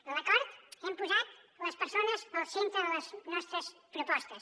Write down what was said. en l’acord hem posat les persones al centre de les nostres propostes